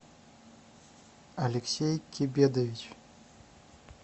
алексей кибедович